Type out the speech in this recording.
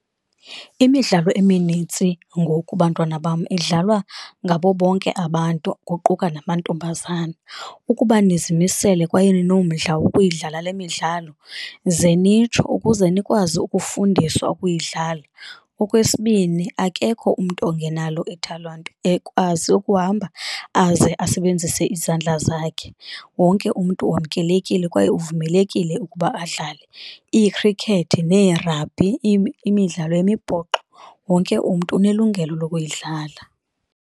Imidlalo eminintsi ngoku, bantwana bam, idlalwa ngabo bonke abantu kuquka namantombazana, ukuba nizimisele kwaye ninomdla wokuyidlala le midlalo zenitsho ukuze nikwazi ukufundiswa ukuyidlala. Okwesibini, akekho umntu ongenalo ithalente ekwazi ukuhamba aze asebenzise izandla zakhe. Wonke umntu wamkelekile kwaye uvumelekile ukuba adlale, iikhrikethi, nee rugby imidlalo yemibhoxo wonke umntu unelungelo lokuyidlala.